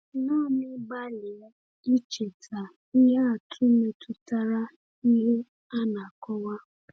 Naanị gbalịa icheta ihe atụ metụtara ihe a na-akọwa.